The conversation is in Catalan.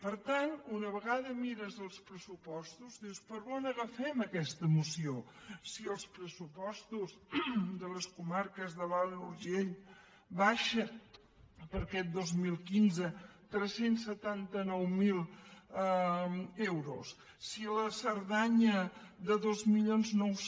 per tant una vegada mires els pressupostos dius per on agafem aquesta moció si els pressupostos de les comarques de l’alt urgell baixen per a aquest dos mil quinze tres cents i setanta nou mil euros si la cerdanya de dos mil nou cents